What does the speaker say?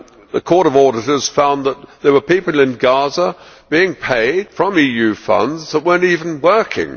The Court of Auditors found that there were people in Gaza being paid from EU funds who were not even working!